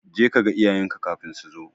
Jeka kaga iyayenka kafin so zo.